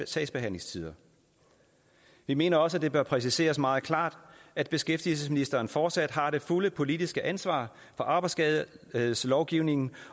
sagsbehandlingstider vi mener også at det bør præciseres meget klart at beskæftigelsesministeren fortsat har det fulde politiske ansvar for arbejdsskadelovgivningen